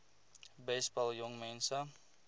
besp help jongmense